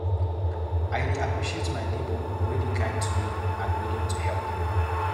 I dey appreciate my neighbor wey dey kind to me and willing to help me.